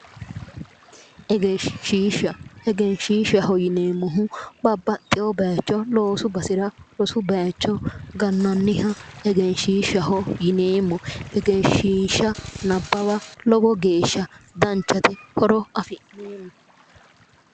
Egenshshiishsha, egenshiishshaho yineemmohu babbaxxewo loosu basera rosu baayiicho gannanniha egenshshiisshshaho yineemmo. egenshshiishsha nabbawa lowo geeshsha danchate horo afi'neemmo.